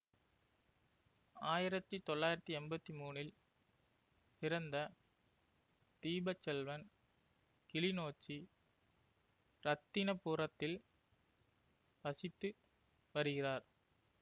ஆயிரத்தி தொள்ளாயிரத்தி எம்பத்தி மூனில் பிறந்த தீபச்செல்வன் கிளிநொச்சி இரத்தினபுரத்தில் வசித்து வருகிறார்